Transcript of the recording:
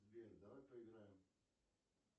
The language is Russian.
сбер давай поиграем